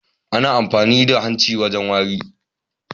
Ana amfani da hanci wajen wari.